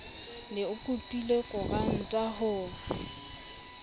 ne o kopile koranta ho